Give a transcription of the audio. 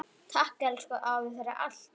Takk, elsku afi, fyrir allt.